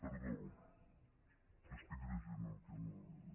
perdó estic llegint el que no és